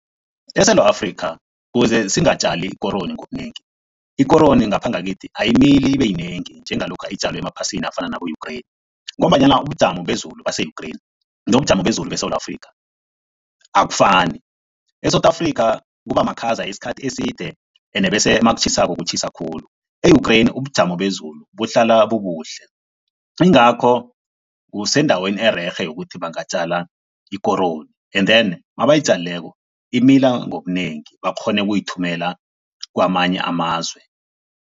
ESewula Afrika kuze singatjali ikoroyi ngobunengi, ikoroyi ngapha ngakithi ayimili ibeyinengi njengalokha itjalwe emaphasini afana nabo-Ukraine ngombanyana ubujamo bezulu base-Ukraine nobujamo bezulu beSewula Afrika akufani. E-South Africa kuba makhaza isikhathi eside ene bese makutjhisako kutjhisa khulu. E-Ukraine ubujamo bezulu buhlala bubuhle, yingakho kusendaweni ererhe yokuthi bangatjala ikoroyi and then mabayitjalileko, imila ngobunengi bakghone ukuyithumela kwamanye amazwe.